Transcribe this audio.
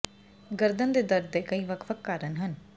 ਗਰਦਨ ਦੇ ਦਰਦ ਦੇ ਕਈ ਵੱਖ ਵੱਖ ਕਾਰਨ ਹਨ